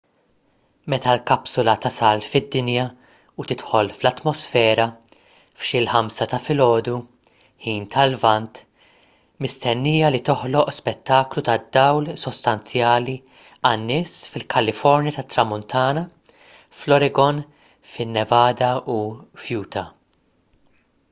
meta l-kapsula tasal fid-dinja u tidħol fl-atmosfera f'xi l-5 ta' filgħodu ħin tal-lvant mistennija li toħloq spettaklu tad-dawl sostanzjali għan-nies fil-kalifornja tat-tramuntana fl-oregon fin-nevada u f'utah